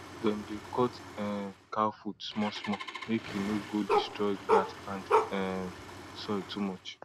dem dey cut um cow foot smallsmall make e no go destroy grass and um soil too much